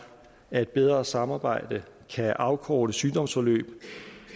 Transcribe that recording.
at et bedre samarbejde kan afkorte sygdomsforløb